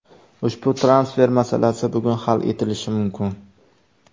Ushbu transfer masalasi bugun hal etilishi mumkin.